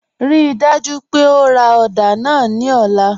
Ríì dájú pé ó rá odà náà ní ọ̀lá.